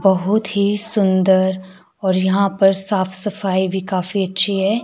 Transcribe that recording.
बहुत ही सुंदर और यहां पर साफ सफाई भी काफी अच्छी है।